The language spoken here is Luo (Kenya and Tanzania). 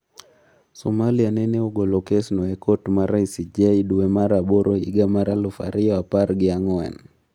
Somalia nene ogolo kesno e kot mar ICJ duwe mar aboro higa mar aluf ariyo apar gi ang'wen.